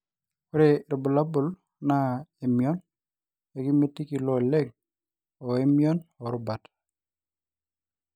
ore irbulabul naa emion, ekimitiki ilo oleng oo emion oo rubat